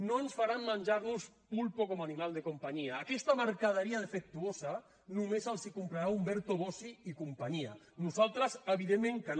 no ens faran menjar nos pulpo como animal de compañía aquesta mercaderia defectuosa només els la comprarà umberto bossi i companyia nosaltres evidentment que no